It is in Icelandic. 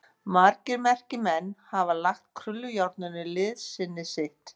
Margir merkir menn hafa lagt krullujárninu liðsinni sitt.